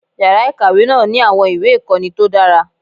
Yàrá ìkàwé náà ní àwọn ìwé ìkọ́ni tó dára.